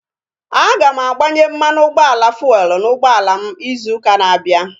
Aga m agbanye mmanụ ụgbọala fuelu n'ụgbọala m izu ụka na-abịa